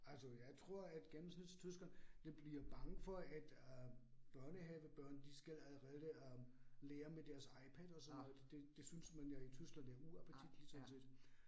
Altså jeg tror, at gennemsnitstyskeren det bliver bange for, at øh børnehavebørn de skal allerede lære med deres IPad og sådan noget. Det det synes man jo i Tyskland er uappetitligt sådan set